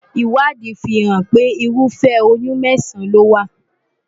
Ìwádìí fi hàn pé ırúfẹ́ oyún mẹ́sàn-án ni ó wà.